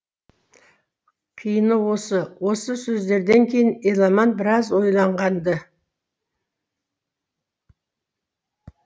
қиыны осы осы сөздерден кейін еламан біраз ойлаған ды